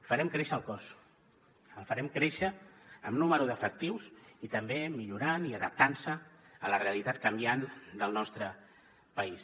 farem créixer el cos el farem créixer en nombre d’efectius i també millorant i adaptant se a la realitat canviant del nostre país